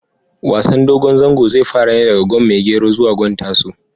Wasan dogon zango zai fara ne daga gwan maigero zuwa gwan tasu